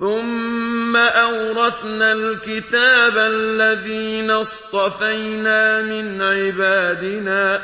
ثُمَّ أَوْرَثْنَا الْكِتَابَ الَّذِينَ اصْطَفَيْنَا مِنْ عِبَادِنَا ۖ